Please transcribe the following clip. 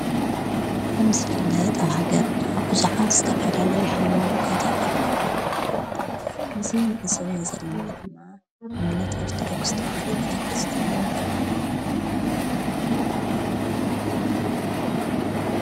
ከም ዝፍልደጥ ኣህገርና ብዙኃት ዝተፋለለይ ኃይሞኖታታ ኣሎዉ እዙ ንእሰዊ ዘለማ ድማ እምነት ኣርተዶክስ ተውሃዶ ቤተ ክርስቲያን ኣህልናይ ና